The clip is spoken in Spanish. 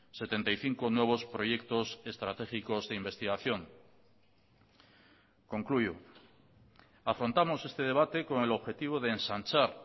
setenta y cinco nuevos proyectos estratégicos de investigación concluyo afrontamos este debate con el objetivo de ensanchar